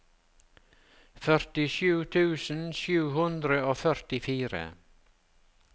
førtisju tusen sju hundre og førtifire